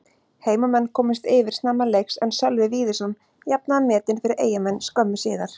Heimamenn komust yfir snemma leiks en Sölvi Víðisson jafnaði metin fyrir Eyjamenn skömmu síðar.